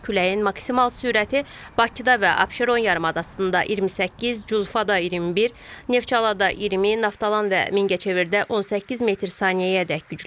Küləyin maksimal sürəti Bakıda və Abşeron yarımadasında 28, Culfada 21, Neftçalada 20, Naftalan və Mingəçevirdə 18 metr/saniyəyədək güclənir.